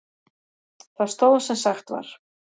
Það stóð sem sagt var.